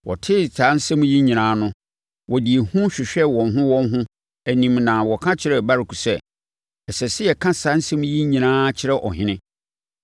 Wɔtee saa nsɛm yi nyinaa no, wɔde ehu hwehwɛɛ wɔn ho wɔn ho anim na wɔka kyerɛɛ Baruk sɛ, “Ɛsɛ sɛ yɛka saa nsɛm yi nyinaa kyerɛ ɔhene.”